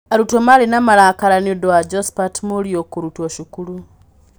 Arutwo marĩ na marakara nĩ ũndũ wa Josphat Mũriu kũrutwo cukuru.